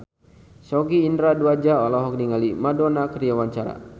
Sogi Indra Duaja olohok ningali Madonna keur diwawancara